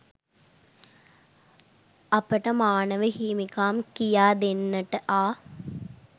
අපට මානව හිමිකම් කියාදෙන්නට ආ